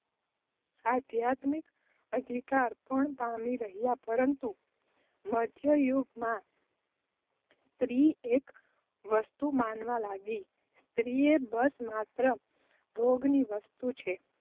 આધ્યાત્મિક અધિકાર પણ પામી હતી. પરંતુ મધ્ય યુગ માં સ્ત્રી એક વસ્તુ મનાવવા લાગી. સ્ત્રી એ બસ માત્ર ભોગ ની વસ્તુ છે.